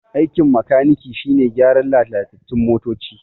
Aikin makaniki shine gyaran lalatattun motoci